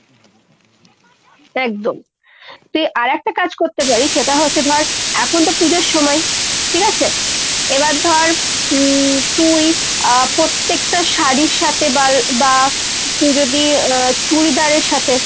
একদম। তুই আর একটা কাজ করতে পারিস, সেটা হচ্ছে ধর এখন তো পুজোর সময়ই ঠিক আছে। এবার ধর উম তুই আ পত্তেকটা শাড়ীর সাথে বাল বা তুই যদি আ চুড়িদারের সাথে